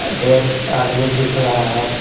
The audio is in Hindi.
आदमी दिख रहा है।